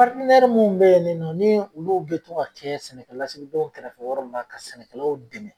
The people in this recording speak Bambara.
mun bɛ ye nin nɔ nii olu bɛ to ka kɛɛ sɛnɛkɛlasigidenw kɛrɛfɛwɔrɔ ma ka sɛnɛkɛlaw dɛmɛ